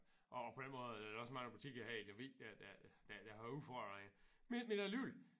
Og på den måde er der da også mange butikker her i Lemvig der der der der har udfordringer men alligevel